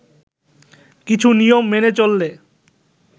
কিছু নিয়ম মেনে চললে